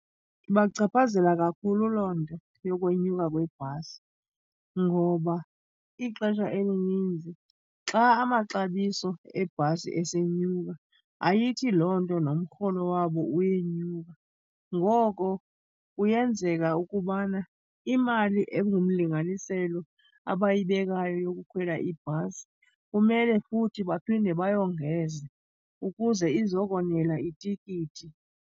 Ibachaphazela kakhulu loo nto yokwenyuka kwebhasi ngoba ixesha elininzi xa amaxabiso ebhasi esenyuka, ayithi loo nto nomrholo wabo uyenyuka. Ngoko kuyenzeka ukubana imali engumlinganiselo abayibekayo yokukhwela ibhasi kumele futhi baphinde bayongeze ukuze izokonela itikiti.